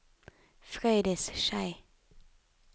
Frøydis Schei